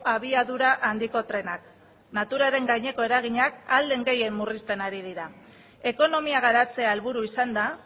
abiadura handiko trenak naturaren gaineko eraginak ahal den gehien murrizten ari dira ekonomia garatzea helburu izanda